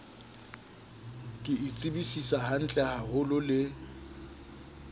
ke e tsebisisa hantlehaholo le